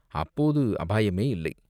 அப்போது அபாயமே இல்லை.